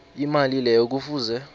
imali leyo kufuze